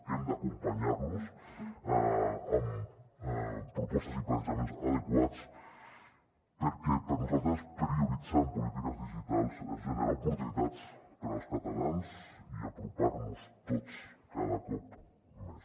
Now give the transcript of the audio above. hem d’acompanyar los amb propostes i plantejaments adequats perquè per a nosaltres prioritzar en polítiques digitals és generar oportunitats per als catalans i apropar nos tots cada cop més